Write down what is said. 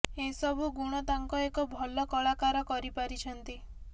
ଏ ସବୁ ଗୁଣ ତାଙ୍କ ଏକ ଭଲ କଳାକାର କରି ପାରିଛନ୍ତି